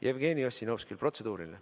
Jevgeni Ossinovskil on protseduuriline.